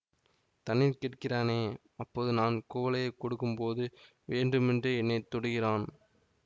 தண்ணீர் கேட்கிறானே அப்போது நான் குவளையைக் கொடுக்கும்போது வேண்டுமென்றே என்னைத்தொடுகிறான்